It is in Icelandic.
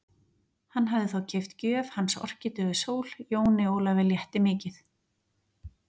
Hann hafði þá keypt gjöf hans Orkídeu Sól, Jóni Ólafi létti mikið.